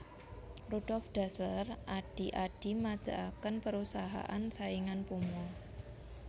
Rudolf Dassler adhi Adi madegaken perusahaan saingan Puma